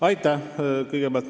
Aitäh!